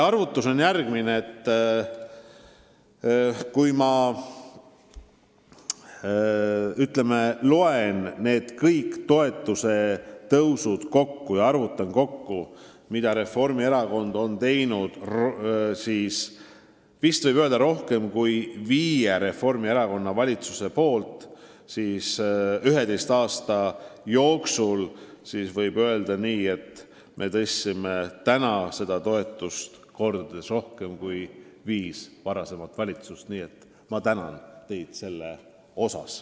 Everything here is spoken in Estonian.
Kui ma nüüd loen kokku kõik need toetuse tõusud, mis viis Reformierakonna valitsust on teinud 11 aasta jooksul, siis võib öelda, et meie tõstsime seda toetust kordades rohkem kui viis varasemat valitsust.